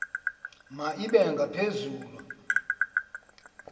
ma ibe ngaphezulu